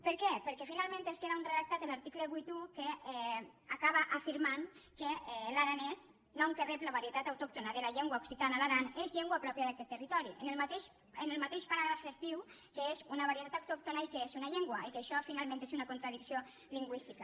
per què perquè finalment queda un redactat a l’article vuitanta un que acaba afirmant que l’aranès nom que rep la varietat autòctona de la llengua occitana a l’aran és llengua pròpia d’aquest territori en el mateix paràgraf es diu que és una varietat autòctona i que és una llengua i això finalment és una contradicció lingüística